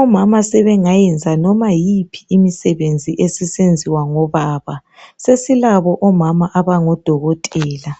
Omama sebengayenza noma yiphi imisebenzi esisenziwa ngobaba. Sesilabo omama abangodokotela.